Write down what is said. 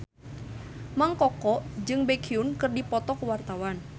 Mang Koko jeung Baekhyun keur dipoto ku wartawan